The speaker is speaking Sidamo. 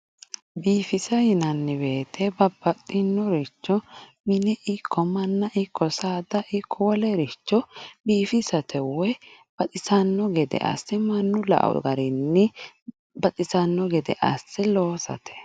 biifisa yinanni wooyiite babbaxxinoricho mine ikko manna ikko saada ikko wolericho biifisate woy baxisanno gedee asse manu la"o garinni baxissanno gede asse loosate